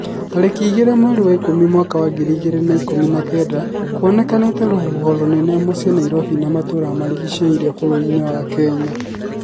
Tarĩkĩ igĩri mweri wa Ikũmi mwaka wa ngiri ĩgiri na ikũmi na kenda kũonekanite rũhuho rũnene mũcĩĩ Nairobi na matũra marigĩciirie bũrũrinĩ wa Kenya